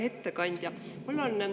Hea ettekandja!